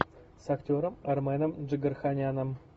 с актером арменом джигарханяном